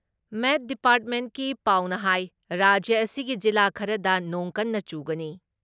ꯃꯦꯠ ꯗꯤꯄꯥꯔꯠꯃꯦꯟꯀꯤ ꯄꯥꯎꯅ ꯍꯥꯏ ꯔꯥꯖ꯭ꯌ ꯑꯁꯤꯒꯤ ꯖꯤꯂꯥ ꯈꯔꯗ ꯅꯣꯡ ꯀꯟꯅ ꯆꯨꯒꯅꯤ ꯫